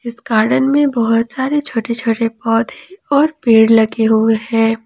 इस गार्डन में बहुत सारे छोटे छोटे पौधे और पेड़ लगे हुए हैं।